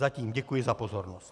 Zatím děkuji za pozornost.